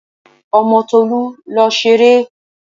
Ọmọ Tolú lọ ṣeré!